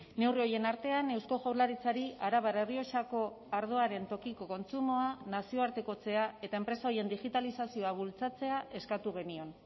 neurri horien artean eusko jaurlaritzari arabar errioxako ardoaren tokiko kontsumoa nazioartekotzea eta enpresa horien digitalizazioa bultzatzea eskatu genion